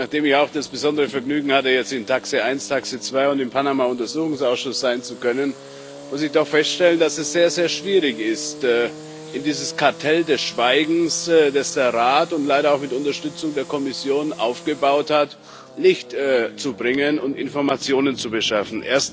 Nachdem ich auch das besondere Vergnügen hatte, im TAXE 1 TAXE 2 und im Panama Untersuchungsausschuss sein zu können, muss ich doch feststellen, dass es sehr, sehr schwierig ist, in dieses Kartell des Schweigens, das der Rat leider auch mit Unterstützung der Kommission aufgebaut hat, Licht zu bringen und Informationen zu beschaffen.